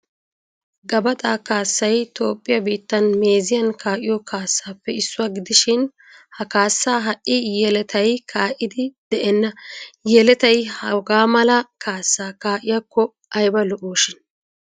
Gabaxa kaasay Toophphiyaa biitan meeziyan ka'iyo kaassappe issuwa gidishin ha kaassa ha'i yelettay ka'iddi de'eena. Yelettay hagaamala kaassa kai'iyakko ayba lo'shin.